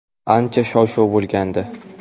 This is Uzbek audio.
Ancha shov-shuv bo‘lgandi.